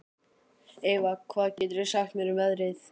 Eyva, hvað geturðu sagt mér um veðrið?